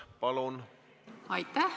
Palun!